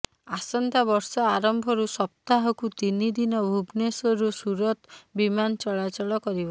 ଆସନ୍ତାବର୍ଷ ଆରମ୍ଭରୁ ସପ୍ତାହକୁ ତିନିଦିନ ଭୁବନେଶ୍ୱରରୁ ସୁରତ ବିମାନ ଚଳାଚଳ କରିବ